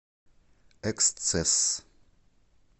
эксцесс